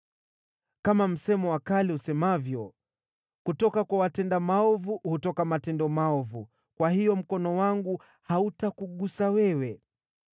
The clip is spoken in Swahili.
Kama msemo wa kale usemavyo, ‘Kutoka kwa watenda maovu hutoka matendo maovu,’ kwa hiyo mkono wangu hautakugusa wewe.